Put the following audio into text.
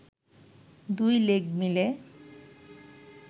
দুই লেগ মিলে